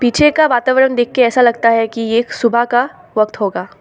पीछे का वातावरण देखकर ऐसा लगता है कि ये एक सुबह का वक्त होगा।